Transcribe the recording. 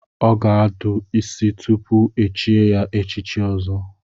Ọ ga-adụ isi tupu echie ya echichi Ọzọ.